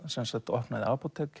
opnaði apótek